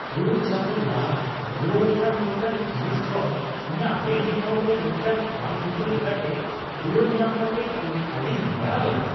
᱖ ᱪᱟᱸᱫᱳ ᱞᱟᱦᱟ ᱨᱩᱣᱟᱹᱲ ᱟᱠᱟᱱ ᱢᱤᱫᱴᱟᱝ ᱡᱤᱱᱤᱥ ᱠᱷᱚᱱ ᱤᱧᱟᱹᱜ ᱵᱮᱝᱠ ᱮᱠᱟᱣᱩᱱᱴ ᱨᱮ ᱢᱤᱫᱴᱟᱝ ᱵᱟᱝᱼᱵᱩᱴᱟᱹ ᱞᱮᱠᱟᱛᱮ ᱨᱩᱣᱟᱹᱲ ᱧᱟᱢ ᱠᱟᱛᱮ ᱤᱧ ᱟᱹᱰᱤᱧ ᱦᱟᱦᱟᱲᱟᱜ ᱞᱮᱱᱟ ᱾